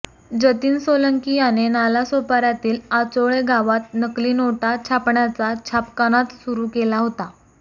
जतीन सोलंकी याने नालासोपाऱयातील आचोळे गावात नकली नोटा छापण्याचा छापखानाच सुरू केला होता